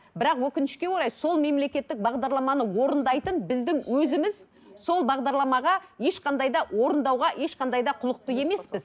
бірақ өкінішке орай сол мемлекеттік бағдарламаны орындайтын біздің өзіміз сол бағдарламаға ешқандай да орындауға ешқандай да құлықты емеспіз